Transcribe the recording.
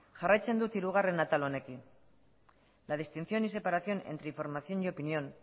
jarraitzen dut hirugarren atal honekin la distinción y separación entre información y opinión